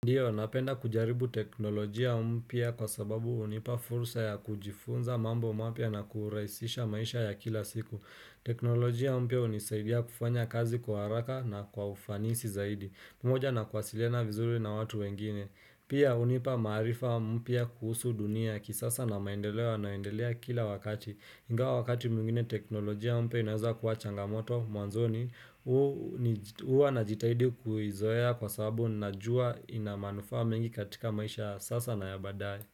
Ndio, napenda kujaribu teknolojia mpya kwa sababu hunipa fursa ya kujifunza mambo mapya na kurahisisha maisha ya kila siku. Teknolojia mpya hunisaidia kufanya kazi kwa haraka na kwa ufanisi zaidi. Pamoja na kuwasiliana vizuri na watu wengine. Pia hunipa maarifa mpya kuhusu dunia ya kisasa na maendeleo yananayoendelea kila wakati. Ingawa wakati mwingine teknolojia mpya inaweza kuwa changamoto mwanzoni, huwa na jitahidi kuizoea kwa sababu na juwa inamanufaa mengi katika maisha sasa na yabadae.